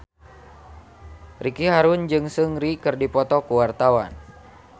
Ricky Harun jeung Seungri keur dipoto ku wartawan